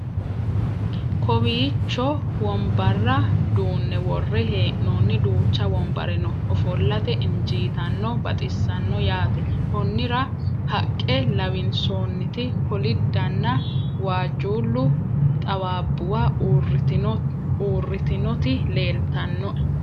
kawiicho wombarra duunne worre hee'noonni duucha wombare no ofollate injiitanno baxissanno yaate konnira haqqe lawinsoonniti kolidanna waajjuulle xawaabbuwa uuritinoti leeltannoe